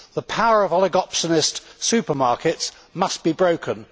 The power of oligopsonist supermarkets must be broken.